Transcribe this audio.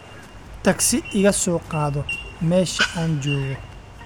tagsi iga soo qaado meesha aan joogo